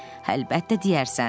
Əlbəttə deyərsən.